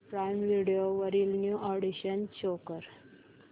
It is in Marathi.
प्राईम व्हिडिओ वरील न्यू अॅडीशन्स शो कर